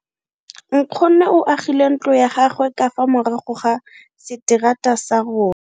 Nkgonne o agile ntlo ya gagwe ka fa morago ga seterata sa rona.